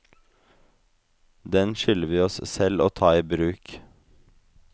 Den skylder vi oss selv å ta i bruk.